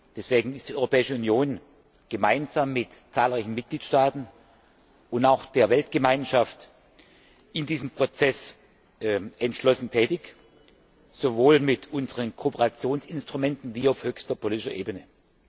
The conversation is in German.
Deswegen ist die Europäische Union gemeinsam mit zahlreichen Mitgliedstaaten und auch der Weltgemeinschaft in diesem Prozess entschlossen tätig, sowohl mit unseren Kooperationsinstrumenten wie auch auf höchster politischer Ebene.